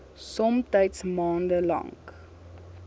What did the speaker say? somtyds maande lank